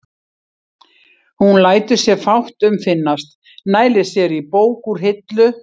Hún lætur sér fátt um finnast, nælir sér í bók úr hillu.